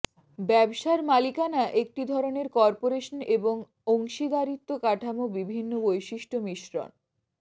ব্যবসার মালিকানা একটি ধরনের কর্পোরেশন এবং অংশীদারিত্ব কাঠামো বিভিন্ন বৈশিষ্ট্য মিশ্রন